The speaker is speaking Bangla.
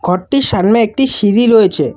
ঘরটির সামনে একটি সিঁড়ি রয়েছে।